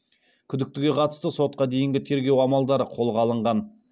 күдіктіге қатысты сотқа дейінгі тергеу амалдары қолға алынған